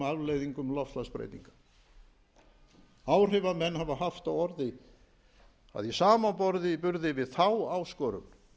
afleiðingum loftslagsbreytinga áhrifamenn hafa haft á orði að í samanburði við þá áskorun